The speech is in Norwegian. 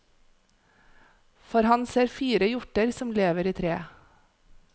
For han ser fire hjorter som lever i treet.